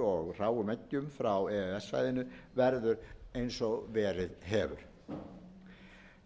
og hráum eggjum frá e e s svæðinu verður eins og verið hefur